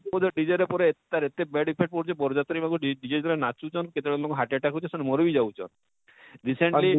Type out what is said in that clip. dj ର ପରେ ଏତେ ତାର bad effect ପଡୁଛେ ବରଯାତ୍ରୀ ମାନକୁ dj dj ଯେନ ମାନେ ନାଚୁଛନ କେତେବେଳେ ଇମାନକୁ heart attack ହଉଛେ ସେମାନେ ମରି ବି ଯାଉଛନ recently